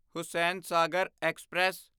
Hussain Sagar express